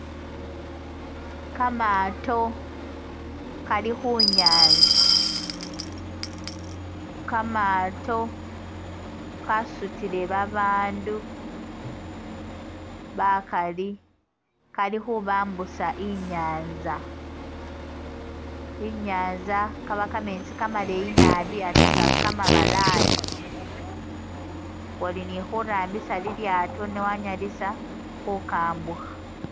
Kamaato kali khunyanza kamaato kasutile babandu bakali kali khubambusa i'nyanza, i'nyanza kabakameetsi kamaleyi naabi ate nga kamabalayi nga oli ni khurambisa lilyaato ne wanyalisa khukambukha